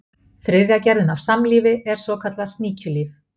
þriðja gerðin af samlífi er svokallað sníkjulíf